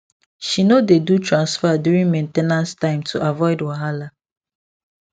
she no dey do transfer during main ten ance time to avoid wahala